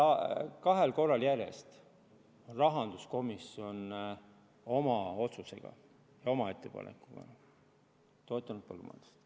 Kahel korral järjest on rahanduskomisjon oma otsusega, oma ettepanekuga põllumajandust toetanud.